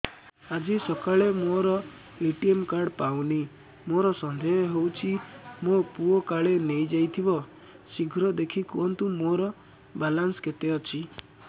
ଆଜି ସକାଳେ ମୋର ଏ.ଟି.ଏମ୍ କାର୍ଡ ଟି ପାଉନି ମୋର ସନ୍ଦେହ ହଉଚି ମୋ ପୁଅ କାଳେ ନେଇଯାଇଥିବ ଶୀଘ୍ର ଦେଖି କୁହନ୍ତୁ ମୋର ବାଲାନ୍ସ କେତେ ଅଛି